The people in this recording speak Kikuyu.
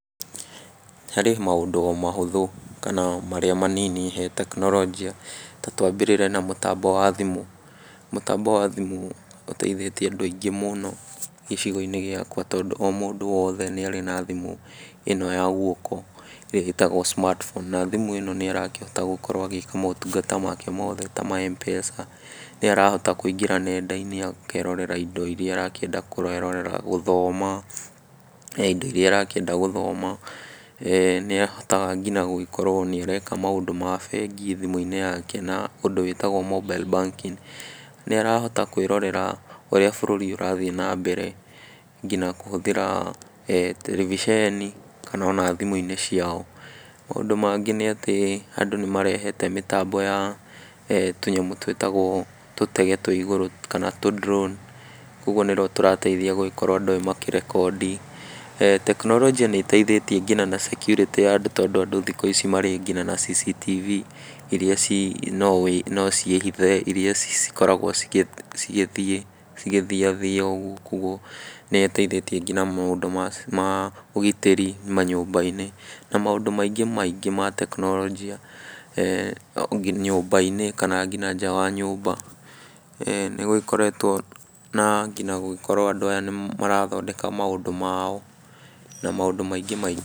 Harĩ maũndũ mahũthũ kana marĩa manini he tekinorojĩ ta twambĩrĩrie na mũtambo wa thimũ ,mũtambo wa thimũ ũteithĩtie andũ aingĩ mũno gĩcigo-inĩ gĩakwa , tondũ o mũndũ wothe nĩ arĩ na thimũ ĩno ya gwoko ĩrĩa ĩtagwo smartphone, na thimũ ĩno nĩ arakĩhota gũkorwo agĩĩka mũtungata make mothe ta ma Mpesa, nĩ arahota kũingĩra nenda-inĩ akerorera indo iria arakĩenda kwĩrorera , gũthoma, he indo iria arakĩenda gũthoma, nĩ ahotaga nginya gũgĩkorwo nĩ areka maũndũ ma bengi thimũ-inĩ yake na ũndũ wĩtagwo mobile banking ,nĩ arahota kwĩrorera ũrĩa bũrũri ũrathiĩ na mbere , nginya kũhũthĩra tereviceni kana ona thimũ-inĩ ciao, maũndũ mangĩ nĩ atĩ andũ nĩ marehete mĩtambo ya tũnyamũ twĩtagwo tũtege twa igũrũ kana tu drawn , kũgwo nĩ two tũrateithia gũgĩkorwo andũ makĩrekondi, tekioronjĩ nĩ ĩteithĩtie nginya na security ya andũ tondũ andũ thikũ ici marĩ nginya CCTV, iria no wĩ no ciĩhithe , iria cikoragwo cikĩthiĩ cikĩthiathia gũkũ ,nĩ citeithĩtie nginya maũndũ ma ũgitĩri nyũmba-inĩ, na maũndũ maingĩ ma tekinorojĩ e nyũmba-inĩ, kana nginya nja wa nyũmba , e nĩ gũgĩkoretwo na nginya na gũgĩkorwo andũ aya nĩ marathondeka maũndũ mao na maũndũ mangĩ maingĩ.